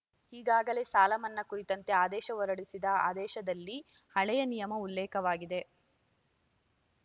ಈಗಾಗಲೇ ಸಾಲ ಮನ್ನಾ ಕುರಿತಂತೆ ಆದೇಶ ಹೊರಡಿಸಿದ ಆದೇಶದಲ್ಲಿ ಹಳೆಯ ನಿಯಮ ಉಲ್ಲೇಖವಾಗಿದೆ